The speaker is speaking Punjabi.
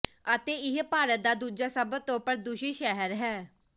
ਅਤੇ ਇਹ ਭਾਰਤ ਦਾ ਦੂਜਾ ਸਭ ਤੋਂ ਪ੍ਰਦੂਸ਼ਿਤ ਸ਼ਹਿਰ ਹੈ